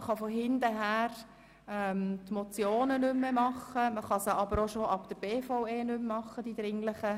Man kann die Motionen nicht mehr behandeln oder aber diese – die dringlichen – schon ab der BVE nicht mehr behandeln.